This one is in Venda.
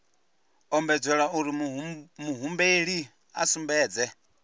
ombedzelwa uri muhumbeli a sumbedze